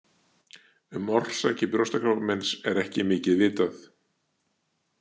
Um orsakir brjóstakrabbameins er ekki mikið vitað.